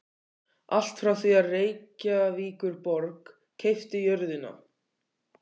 Allt frá því að Reykjavíkurborg keypti jörðina